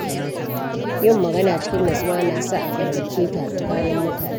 Yin magana cikin nutsuwa na sa a fahimce ta tsakanin mutane.